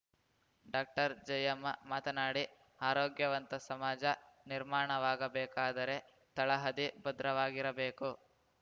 doctor Jayamma ಮಾತನಾಡಿ ಆರೋಗ್ಯವಂತ ಸಮಾಜ ನಿರ್ಮಾಣವಾಗಬೇಕಾದರೆ ತಳಹದಿ ಭದ್ರವಾಗಿರಬೇಕು